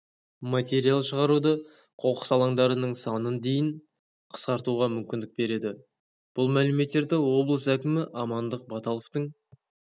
материал шығаруды қоқыс алаңдардарының санын дейін қысқартуға мүмкіндік береді бұл мәліметтерді облыс әкімі амандық баталовтың